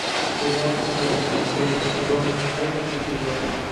сериал цыган третий сезон третий эпизод